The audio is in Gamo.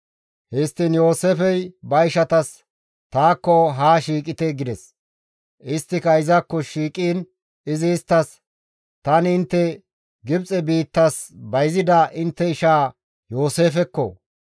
Histtiin Yooseefey ba ishatas, «Taakko haa shiiqite» gides. Isttika izakko shiiqiin izi isttas, «Tani intte Gibxe biittas bayzida intte ishaa Yooseefekko,